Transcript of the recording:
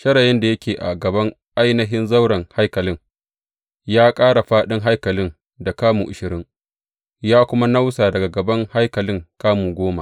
Shirayin da yake a gaban ainihin zauren haikalin, ya ƙara faɗin haikalin da kamu ashirin, ya kuma nausa daga gaban haikalin kamu goma.